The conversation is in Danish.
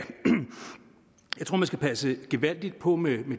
man skal passe gevaldigt på med at